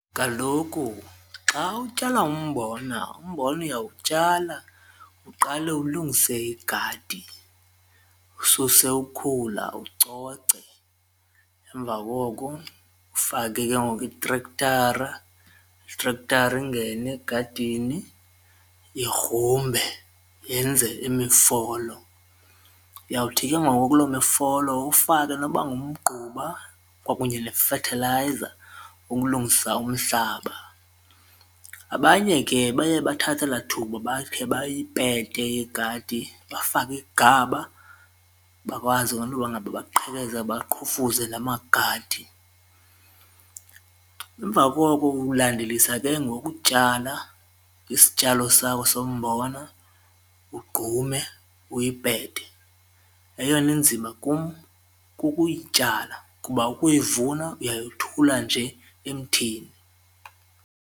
Kaloku xa utyala umbona umbona uyawutyala uqale ulungise igadi, ususe ukhula ucoce emva koko ufake ke ngoku itrektara, itrektara ingene egadini igrumbe yenze imifolo uyawuthi ke ngoku kuloo mifolo ufake noba ngumgquba kwakunye nefethilayiza ukulungisa umhlaba. Abanye ke baye bathathe elaa thuba bakhe bayipete igadi bafake igaba bakwazi ke into yokuba ngaba baqhekeze baqhufuze la magade emva koko ulandelisa ke ngoku ukutyala isityalo sakho sombona ugqume uyipete. Eyona inzima kum kukuyityala kuba ukuyivuna uyayothula nje emthini.